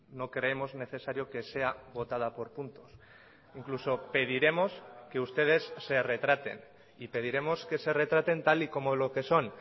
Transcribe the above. no creemos necesario que sea votada por puntos incluso pediremos que ustedes se retraten y pediremos que se retraten tal y como lo que son